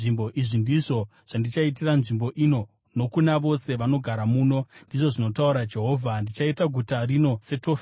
Izvi ndizvo zvandichaitira nzvimbo ino nokuna vose vanogara muno, ndizvo zvinotaura Jehovha. Ndichaita guta rino seTofeti.